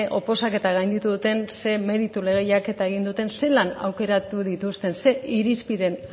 oposaketa gainditu duten ze meritu lehiaketa egin duten zelan aukeratu dituzten ze irizpideen